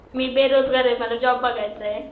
मी बेरोजगार आहे मला जॉब बघायचा आहे.